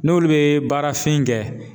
N'olu bɛ baarafin kɛ